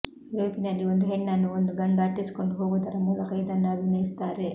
ಯೂರೋಪಿನಲ್ಲಿ ಒಂದು ಹೆಣ್ಣನ್ನು ಒಂದು ಗಂಡು ಅಟ್ಟಿಸಿಕೊಂಡು ಹೋಗುವುದರ ಮೂಲಕ ಇದನ್ನು ಅಭಿನಯಿಸುತ್ತಾರೆ